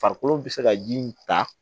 Farikolo bɛ se ka ji in ta